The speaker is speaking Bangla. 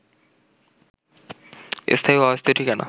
স্থায়ী ও অস্থায়ী ঠিকানা